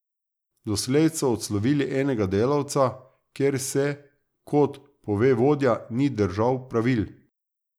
Doslej so odslovili enega delavca, ker se, kot pove vodja, ni držal pravil.